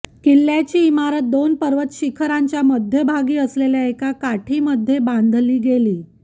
किल्ल्याची इमारत दोन पर्वत शिखरांच्या मध्यभागी असलेल्या एका काठीमध्ये बांधली गेली